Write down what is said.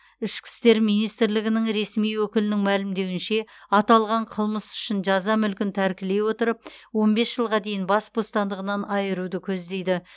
ішкі істер министрлігінің ресми өкілінің мәлімдеуінше аталған қылмыс үшін жаза мүлкін тәркілей отырып он бес жылға дейін бас бостандығынан айыруды көздейді